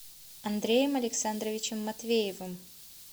андреем александровичем матвеевым